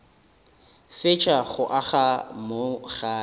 fetša go aga mo gae